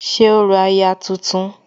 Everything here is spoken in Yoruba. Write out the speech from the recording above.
ṣe orò aya tuntun